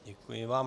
Děkuji vám.